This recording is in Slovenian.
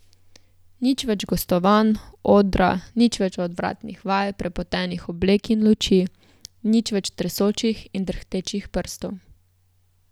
Nič več gostovanj, odra, nič več odvratnih vaj, prepotenih oblek in luči, nič več tresočih in drhtečih prstov.